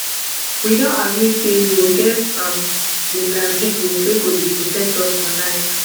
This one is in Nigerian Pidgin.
we don agree say we go get um vigilante group wey go dey protect us for night